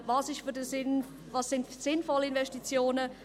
Welches sind für diesen Kanton sinnvolle Investitionen?